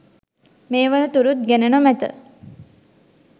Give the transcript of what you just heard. මේ වන තුරුත් ගෙන නොමැත